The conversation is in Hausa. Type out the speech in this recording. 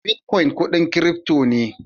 "Bitcoin" kudin "crypto" ne.